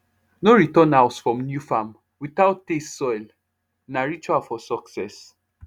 no return house from new farm without taste soil na ritual for success